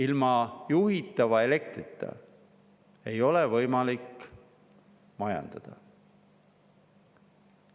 Ilma juhitava elektrita ei ole võimalik majandada.